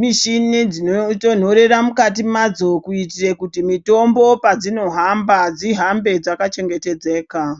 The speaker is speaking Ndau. mishini dzinotonhorera mukati madzo kuitire kuti mitombo padzinohamba dzihambe dzakachengetedzeka.